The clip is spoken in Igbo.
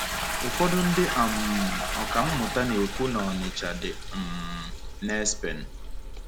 Ụfọdụ ndị um ọkà mmụta na-ekwu na Ọnịcha dị um n’Espen.